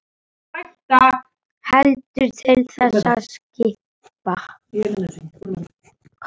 Heldur til þess að skapa.